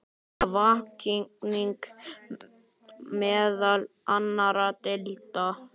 Það vakning meðal annarra deilda.